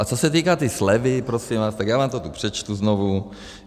A co se týká té slevy, prosím vás, tak já vám to tu přečtu znovu.